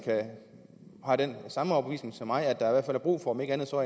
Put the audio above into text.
har den samme overbevisning som jeg altså at der er brug for om ikke andet så